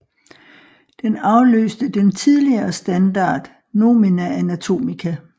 Den afløste den tidligere standard Nomina Anatomica